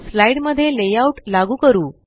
slide मध्ये layout लागू करू